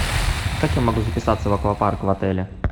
как я могу записаться в аквапарк в отеле